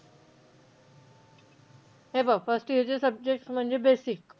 हे बघ first year चे subjects म्हणजे basic.